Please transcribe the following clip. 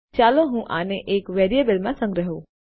ચાલો હું આને એક વેરિયેબલમાં સંગ્રહ કરું